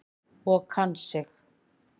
Og kann sig.